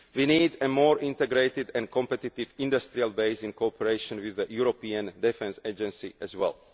We need a more integrated and competitive industrial base, in cooperation with the European Defence Agency as well.